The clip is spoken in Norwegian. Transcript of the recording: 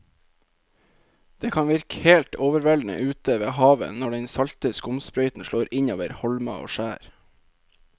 Det kan virke helt overveldende ute ved havet når den salte skumsprøyten slår innover holmer og skjær.